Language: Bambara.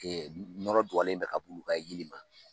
Yɔrɔɔrɔ dɔlen bɛ ka' ka yiri ma